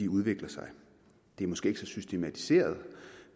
udvikler sig det er måske ikke så systematiseret